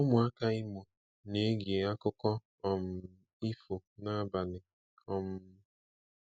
Ụmụaka Imo na-ege akụkọ um ifo n'abalị. um